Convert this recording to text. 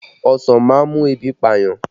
Ọsàn má ń mú ebi pa ènìyàn